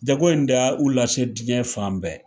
Jago in da u lase diɲɛ fan bɛɛ